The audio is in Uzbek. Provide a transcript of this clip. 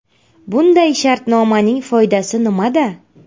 Bunday shartnomaning foydasi nimada?